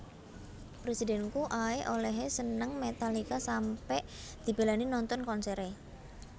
Presidenku ae olehe seneng Metallica sampe dibelani nonton konsere